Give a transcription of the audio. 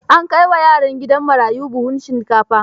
An kai wa yaran gidan marayun buhun shinkafa.